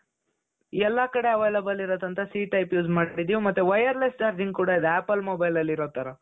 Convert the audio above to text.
ಎಲ್ಲಾ ಕಡೆ available ಇರುತ್ತೆ ಅಂತ c type use ಮಾಡ್ತೀವಿ ಮತ್ತೆ wireless charging ಕೂಡಾ ಇದೆ apple mobileಅಲ್ಲಿ ಇರೋ ತರ .